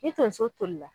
Ni tonso toli la